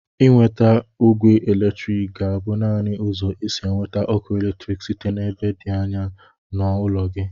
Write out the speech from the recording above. Inweta ogwe eletrik ga-abụ naanị ụzọ isi eweta ọkụ eletrik site n'ebe dị anya n'ụlọ gị.